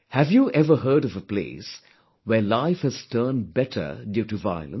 Have you ever heard of a place where life has turned better due to violence